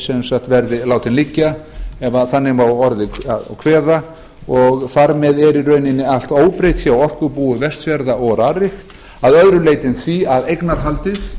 sem sagt verði látinn liggja ef þannig má að orði kveða og þar með er í rauninni allt óbreytt frá orkubúi vestfjarða og rarik að öðru leyti en því að eignarhaldið